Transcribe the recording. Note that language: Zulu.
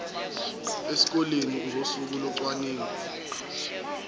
esikoleni ngosuku locwaningo